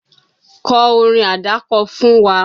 Kọ́ orin àdákọ fún wa!